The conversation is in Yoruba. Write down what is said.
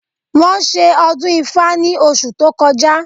Wọ́n ṣe ọdún ifá ní oṣù tó kọjá